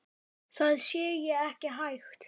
Það sé ekki hægt.